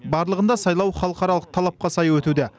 барлығында сайлау халықаралық талапқа сай өтуде